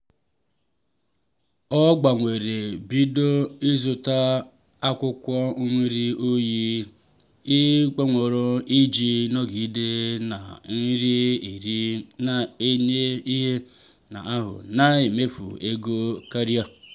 ọ gbanwere bido ịzụta akwụkwọ nri oyi kpọnwụrụ iji nọgide na-eri nri na-enye ihe n'ahụ na-emefughị ego karịa.